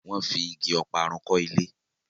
wón fí ìgi Ọparun kò ilé.